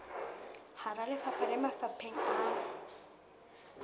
hara lefapha le mafapheng a